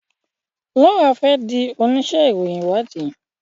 Laura fè dì onísé ìròyìn ìwádìí